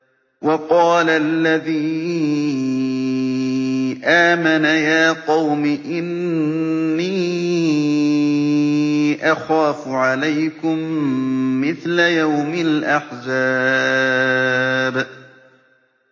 وَقَالَ الَّذِي آمَنَ يَا قَوْمِ إِنِّي أَخَافُ عَلَيْكُم مِّثْلَ يَوْمِ الْأَحْزَابِ